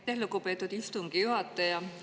Aitäh, lugupeetud istungi juhataja!